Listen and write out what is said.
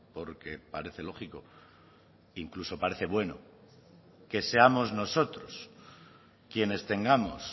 porque parece lógico incluso parece bueno que seamos nosotros quienes tengamos